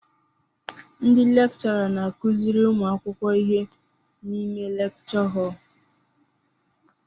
Ndị lekchọra n'akụziri ụmụ akwụkwọ ihe n'ime lekchọ họl